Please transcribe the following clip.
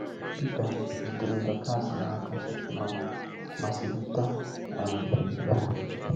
Pita jidere Dorcas n’aka ma ma selite um ya.